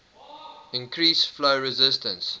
increase flow resistance